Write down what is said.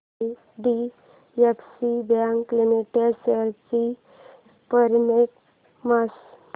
IDFC bank limited shares चा performance